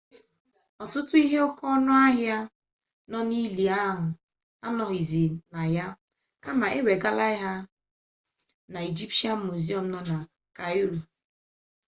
ọtụtụ ihe oke ọnụ ahia nọ n'ili a anọghịzị na ya kama e wegala ha na ijipshịan muziọm nọ na kairo